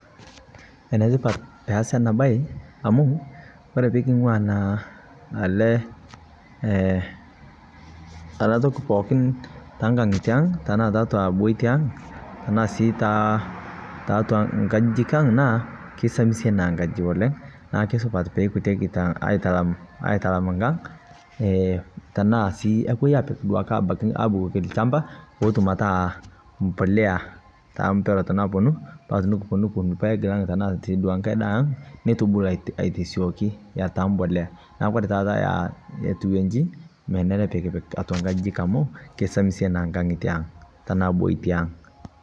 Enetipat pee aasi ena baye amu kore pii iking'uaa naa ele ee ana ntoki pookin ta nkaang'atie ang' tana te atua bootie ang' tana sii ta ta atua nkaajijik ang naa keisamisie naa nakaaji oleng. Naa kesupat pee ejutieki taa aitalaam aitalaam nkaang' ee tana sii epoo aipiik duake abaki abukokii lchambaa pootuum ataa mbolea ta mpeerot naponuu paa tinikuponuu nukupoo nikuun lpaek lai tana sii nkaai ndaa ang' neitupuluu aitosioki aitaa mbolea. Naa kore taata aa etuwejii meneere pii ikiipik atua nkajijik amu keisamisie naa nkaang'atie ang tana bootie ang'.